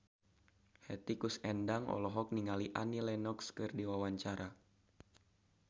Hetty Koes Endang olohok ningali Annie Lenox keur diwawancara